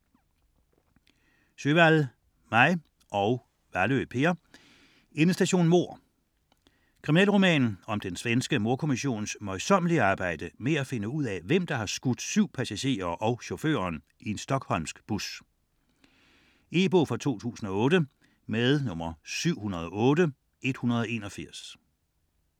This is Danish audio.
Sjöwall, Maj: Endestation mord Kriminalroman om den svenske mordkommissions møjsommelige arbejde med at finde ud af, hvem der har skudt 7 passagerer og chaufføren i en stockholmsk bus. E-bog 708181 2008.